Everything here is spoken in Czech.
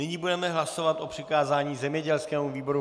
Nyní budeme hlasovat o přikázání zemědělskému výboru.